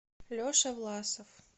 леша власов